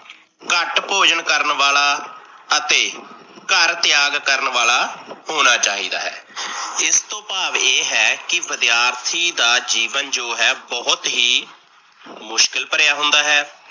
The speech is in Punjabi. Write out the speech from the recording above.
ਘੱਟ ਭੋਜਨ ਕਰਨ ਵਾਲਾ, ਅਤੇ ਘਰ ਤਿਆਗ ਕਰਨ ਵਾਲਾ ਹੋਣਾ ਚਾਹੀਦਾ ਹੈ। ਇਸ ਤੋਂ ਭਾਵ ਇਹ ਹੈ, ਕੀ ਵਿਦਿਆਰਥੀ ਦਾ ਜੀਵਨ ਜੋ ਹੈ ਬਹੁਤ ਹੀ ਮੁਸ਼ਕਿਲ ਭਰਿਆ ਹੁੰਦਾ ਹੈ।